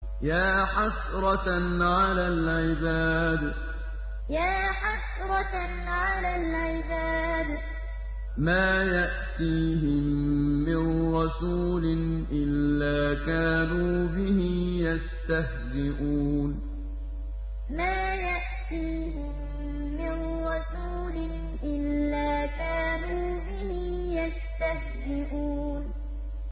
يَا حَسْرَةً عَلَى الْعِبَادِ ۚ مَا يَأْتِيهِم مِّن رَّسُولٍ إِلَّا كَانُوا بِهِ يَسْتَهْزِئُونَ يَا حَسْرَةً عَلَى الْعِبَادِ ۚ مَا يَأْتِيهِم مِّن رَّسُولٍ إِلَّا كَانُوا بِهِ يَسْتَهْزِئُونَ